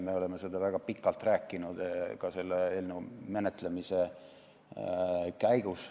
Me oleme sellest väga pikalt rääkinud ka selle eelnõu menetlemise käigus.